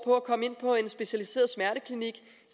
at komme ind på en specialiseret smerteklinik